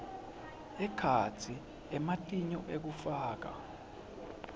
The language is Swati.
ekhatsi ematinyo ekufakwa